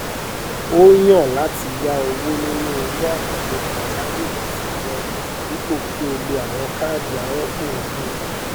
ó yàn láti yá owó nínú owó àkànlò pàjáwìrì tí rẹ dípò kí ó ló àwọn káàdì arọpọ owó